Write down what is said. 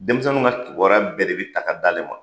Denmisɛnnin ka kibaruya bɛɛ de bɛ ta ka d'a le ma.